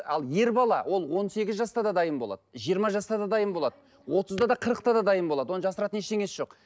ал ер бала ол он сегіз жаста да дайын болады жиырма жаста да дайын болады отызда да қырықта да дайын болады оның жасыратын ештеңесі жоқ